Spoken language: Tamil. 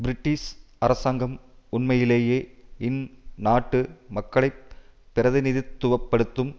பிரிட்டிஷ் அரசாங்கம் உண்மையிலேயே இந் நாட்டு மக்களை பிரதிநிதித்துவ படுத்தும்